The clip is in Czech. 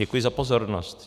Děkuji za pozornost.